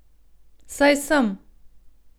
Saj sem.